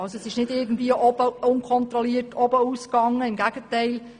Es gab keine unkontrollierten Mehrausgaben, im Gegenteil: